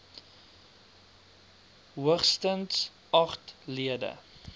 hoogstens agt lede